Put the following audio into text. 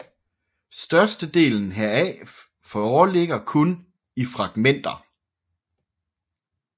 Størstedelen heraf foreligger kun i fragmenter